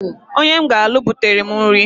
Onye m ga-alụ butere m nri.